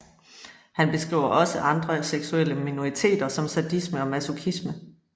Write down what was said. Han beskriver også andre seksuelle minoriteter som sadisme og masochisme